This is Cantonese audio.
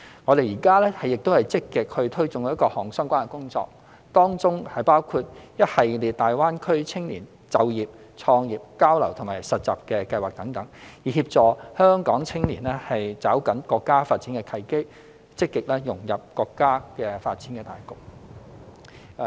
我們現正積極推進各項相關工作，當中包括一系列大灣區青年就業、創業、交流和實習計劃等，以協助香港青年抓緊國家發展契機，積極融入國家發展大局。